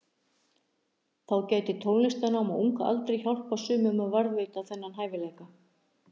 Þá gæti tónlistarnám á unga aldri hjálpað sumum að varðveita þennan hæfileika.